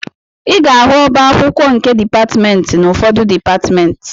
Ị ga-ahụ ọba akwụkwọ nke dịpatmentị n'ufọdụ dịpatmentị